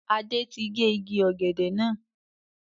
Adé tí gé igi ọ̀gẹ̀dẹ̀ náà.